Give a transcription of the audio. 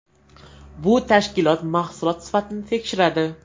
Bu tashkilot mahsulot sifatini tekshiradi.